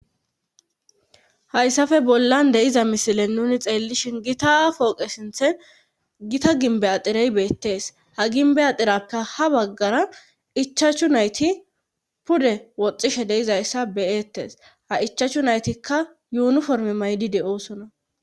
hayssafe bollan deiza misilen nuni xeellishin gita pooqe sinthen gita ginbe axirey beettes ha ginbe axirapke ha baggara ichachchu nayti pude woxxishe deizayssa beyettes ha ichachchu naytikka yuunuforme maydi de7oosona